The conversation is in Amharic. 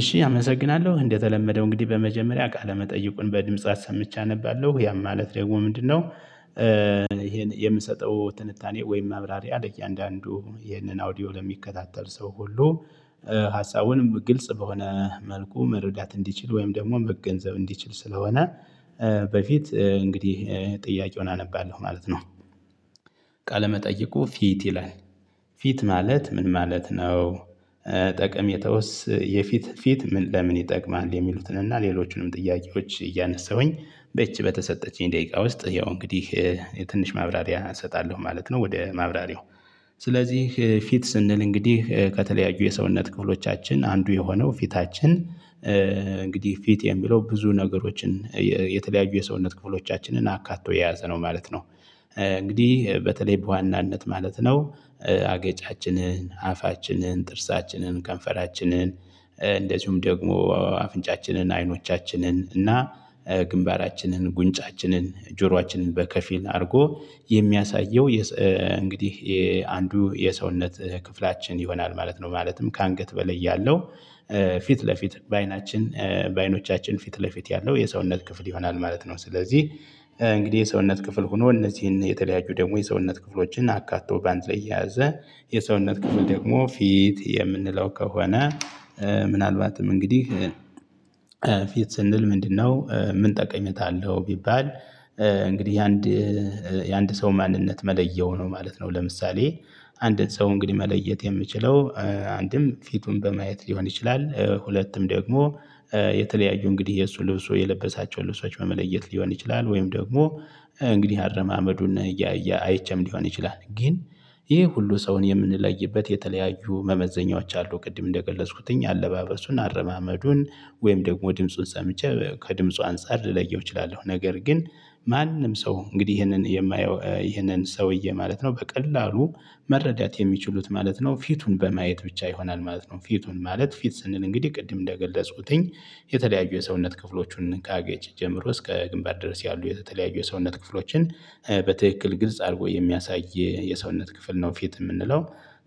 እሺ አመሰግናለሁ እንደተለመደው እንግዲህ በመጀመሪያ ቃለመጠይቁን በድምጽ አሰምቼ አነባለሁ ያም ማለት ደግሞ ምንድነው? ይሄን የምሰጠው ትንታኔ ወይም ማብራሪያ ለእያንዳንዱ ይሄንን አውዲዮ ለሚከታተል ሰው ሁሉ። ሀሳቡን ግልጽ በሆነ መልኩ መረዳት እንዲችል ወይም ደግሞ መገንዘብ እንዲችል ስለሆነ በፊት እንግዲህ ጥያቄውን አነባለሁ ማለት ነው። ቃለመጠየቁ ፊት ይላል ፊት ማለት ምን ማለት ነው? ጠቀሜታውስ የፊት ፊት ለምን ይጠቅማል? የሚሉትን እና ሌሎቹንም ጥያቄዎች እያነሳሁኝ። በዚች በተሰጠችኝ ደቂቃ ውስጥ ያው እንግዲህ የትንሽ ማብራሪያ እሰጣለሁ ማለት ነው። ወደ ማብራሪያው። ስለዚህ ፊት ስንል እንግዲህ ከተለያዩ የሰውነት ክፍሎቻችን አንዱ የሆነው ፊታችን እንግዲህ ፊት የሚለው ብዙ ነገሮችን። የተለያዩ የሰውነት ክፍሎቻችንን አካቶ የያዘ ነው ማለት ነው። እንግዲህ በተለይ በዋናነት ማለት ነው። አገጫችንን አፋችንን ጥርሳችንን ከንፈራችንን እንደዚሁም ደግሞ አፍንጫችንን አይኖቻችንን እና ግንባራችንን ጉንጫችንን ጆሯችንን በከፊል አድርጎ የሚያሳየው እንግዲህ አንዱ የሰውነት ክፍላችን ይሆናል ማለት ነው ማለትም ከአንገት በላይ ያለው። ፊት ለፊት በአይናችን በአይኖቻችን ፊት ለፊት ያለው የሰውነት ክፍል ይሆናል ማለት ነው ስለዚህ። እንግዲህ የሰውነት ክፍል ሆኖ እነዚህን የተለያዩ ደግሞ የሰውነት ክፍሎችን አካቶ በአንድ ላይ የያዘ የሰውነት ክፍል ደግሞ ፊት የምንለው ከሆነ። ምናልባትም እንግዲህ ፊት ስንል ምንድነው ምን ጠቀሜታ አለው ቢባል? እንግዲህ የአንድ የአንድ ሰው ማንነት መለያው ነው ማለት ነው። ለምሳሌ። አንድን ሰው እንግዲህ መለየት የምንችለው አንድም ፊቱን በማየት ሊሆን ይችላል ሁለትም ደግሞ። የተለያዩ እንግዲህ የእሱ ልብሱ የለበሳቸውን ልብሶች በመለየት ሊሆን ይችላል ወይም ደግሞ። እንግዲህ አረማመዱን እያያ አይቼም ሊሆን ይችላል ግን። ይሄ ሁሉ ሰውን የምንለይበት የተለያዩ መመዘኛዎች አሉ። ቅድም እንደገለጽኩትኝ አለባበሱን አረማመዱን ወይም ደግሞ ድምፁን ሰምቼ ከድምፁ አንፃር ልለየው እችላለሁ። ነገር ግን ማንም ሰው እንግዲህ ይሄንን የማየው ይሄንን ሰውዬ ማለት ነው በቀላሉ መረዳት የሚችሉት ማለት ነው። ፊቱን በማየት ብቻ ይሆናል ማለት ነው። ፊቱን ማለት ፊት ስንል እንግዲህ ቅድም እንደገለጹትኝ። የተለያዩ የሰውነት ክፍሎቹን ካገጭ ጀምሮ እስከ ግንባር ድረስ ያሉ የተለያዩ የሰውነት ክፍሎችን በትክክል ግልጽ አርጎ የሚያሳይ የሰውነት ክፍል ነው ፊት የምንለው።